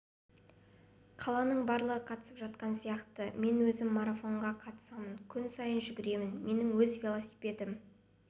қаланың барлығы қатысып жатқан сияқты мен өзім марафонға қатысамын күн сайын жүгіремін менің өз велосипедім